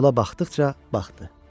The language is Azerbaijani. Yola baxdıqca baxdı.